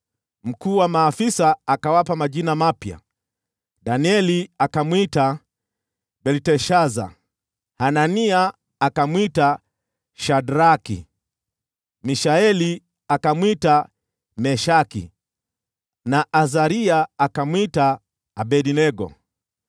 Mkuu wa maafisa akawapa majina mapya: Danieli akamwita Belteshaza, Hanania akamwita Shadraki, Mishaeli akamwita Meshaki, na Azaria akamwita Abednego.